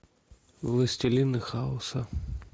властелины хаоса